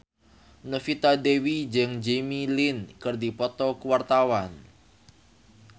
Novita Dewi jeung Jimmy Lin keur dipoto ku wartawan